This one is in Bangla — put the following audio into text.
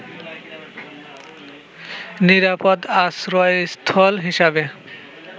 নিরাপদ আশ্রয়স্থল হিসাবে